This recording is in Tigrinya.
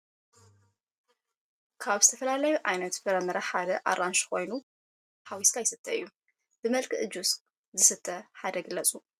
ካብ ዝተፈለለዮ ዓይነት ፍረምረ ሐደ አራንሽ ኮይኑ ብመልክዕ ፈሳሲ ጁሰ ከምኡውን ለሚን ሐዊስካ ይሰተ እዮ ። ብመልክዕ ጁስ ዝሰተ ሐደ ግለፁ ?